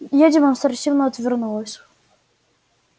я демонстративно отвернулась